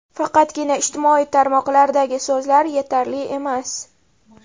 Faqatgina ijtimoiy tarmoqlardagi so‘zlar yetarli emas.